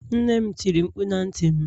nnem tiri mkpu na ntim